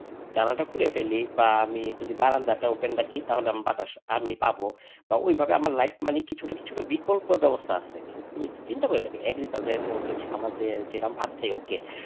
জানালা টা খুলে ফেলি বা আমি বারান্দা তা open রাখি বাতাস আমি পাব বা ওইভাবে আমার লাইফ মানে কিছুটা কিছুটা বিকল্প ব্যবস্থা আছে। তুমি চিন্তা করে দেখো agriculture যেরকম আমরা ভাত খাই okay.